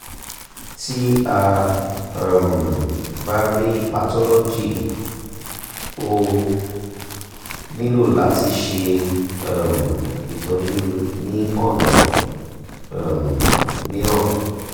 ti a um ba rii pathology o nilo lati ṣe um itọju ni ọna um miiran